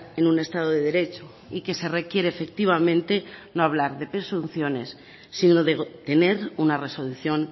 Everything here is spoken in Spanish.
en un estado de derecho y que se requiere efectivamente no hablar de presunciones sino de tener una resolución